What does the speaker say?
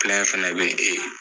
fɛnɛ be yen ee